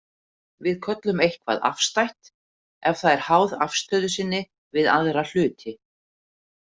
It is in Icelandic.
Við köllum eitthvað afstætt ef það er háð afstöðu sinni við aðra hluti.